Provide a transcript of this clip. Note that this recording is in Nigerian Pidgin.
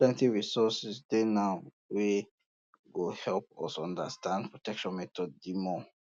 plenty resources dey now wey go help us understand protection methods the more